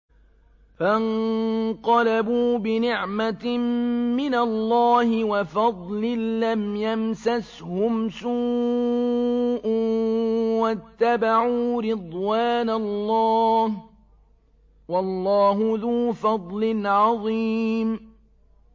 فَانقَلَبُوا بِنِعْمَةٍ مِّنَ اللَّهِ وَفَضْلٍ لَّمْ يَمْسَسْهُمْ سُوءٌ وَاتَّبَعُوا رِضْوَانَ اللَّهِ ۗ وَاللَّهُ ذُو فَضْلٍ عَظِيمٍ